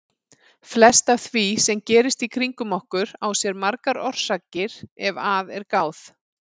Flest af því sem gerist kringum okkur á sér margar orsakir ef að er gáð.